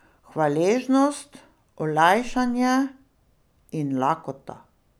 Hvaležnost, olajšanje in lakota.